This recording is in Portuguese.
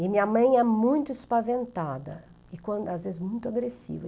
E minha mãe é muito espaventada, e quan às vezes muito agressiva.